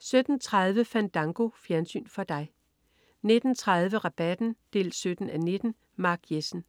17.30 Fandango. Fjernsyn for dig 19.30 Rabatten 17:19. Mark Jessen